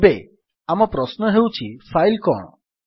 ଏବେ ଆମ ପ୍ରଶ୍ନ ହେଉଛି ଫାଇଲ୍ କଣ